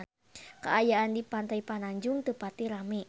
Kaayaan di Pantai Pananjung teu pati rame